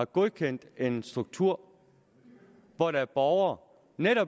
godkendt en struktur hvor der er borgere